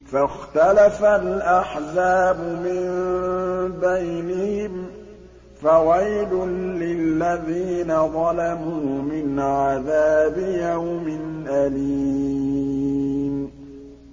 فَاخْتَلَفَ الْأَحْزَابُ مِن بَيْنِهِمْ ۖ فَوَيْلٌ لِّلَّذِينَ ظَلَمُوا مِنْ عَذَابِ يَوْمٍ أَلِيمٍ